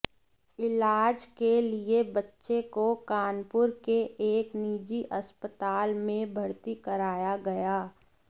इलाज के लिये बच्चे को कानपुर के एक निजी अस्पताल में भर्ती कराया गया